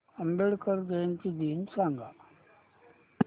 आंबेडकर जयंती दिन सांग